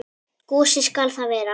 Gosi skal það vera.